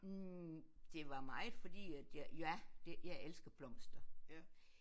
Hm det var meget fordi at jeg ja det jeg elsker blomster